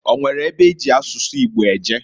O nwere ebe eji asụsụ Igbo eje?